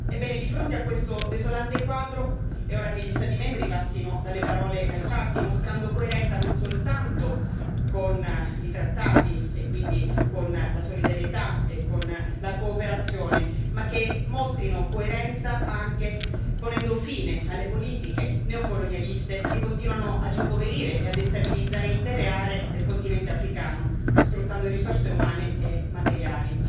Ebbene, di fronte a questo desolante quadro, è ora che gli Stati membri passino dalle parole ai fatti, mostrando coerenza non soltanto con i trattati, e quindi con la solidarietà e con la cooperazione, ma che mostrino coerenza anche ponendo fine alle politiche neocolonialiste che continuano ad impoverire e a destabilizzare intere aree del continente africano, sfruttando risorse umane e materiali.